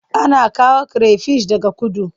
Ana kawo kire fish daga kudu.